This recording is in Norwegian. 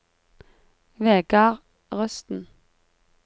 Vegard Rusten